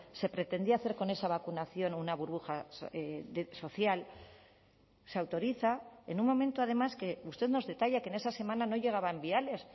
se pretendía hacer con esa vacunación una burbuja social se autoriza en un momento además que usted nos detalla que en esa semana no llegaban viales